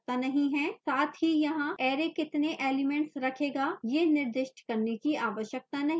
साथ ही यहाँ array कितने elements रखेगा यह निर्दिष्ट करने की आवश्यकता नहीं है